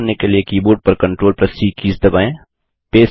copy करने के लिए कीबोर्ड पर CTRLC कीज़ दबाएँ